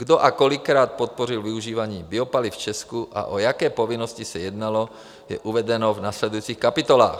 Kdo a kolikrát podpořil využívání biopaliv v Česku a o jaké povinnosti se jednalo, je uvedeno v následujících kapitolách.